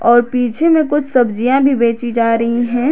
और पीछे में कुछ सब्जियां भी बेची जा रही हैं।